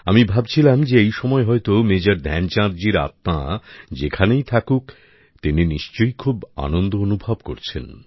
আমি ভাবছিলাম যে এই সময় হয়তো মেজর ধ্যানচাঁদজির আত্মা যেখানেই থাকুক তিনি নিশ্চয়ই খুব আনন্দ অনুভব করছেন